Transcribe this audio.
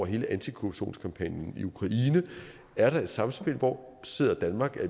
hele antikorruptionskampagnen i ukraine er der et samspil hvor sidder danmark er